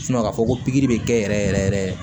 k'a fɔ ko pikiri bɛ kɛ yɛrɛ yɛrɛ